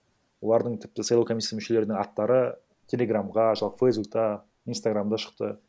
олардың тіпті сайлау комиссиясының мүшелерінің аттары телеграмға фейсбукта инстаграмда шықты